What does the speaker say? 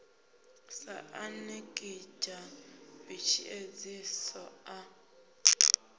sa anekidzha b tshiedziso a